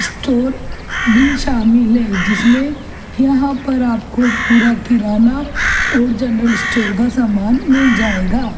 Store भी शामिल है जिसमे आपको यहाँ पर पूरा किराना और जर्नल स्टोर का सामान मिल जायेगा।